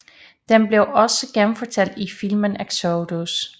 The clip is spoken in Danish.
Den blev også genfortalt i filmen Exodus